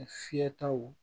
Fiyɛtaw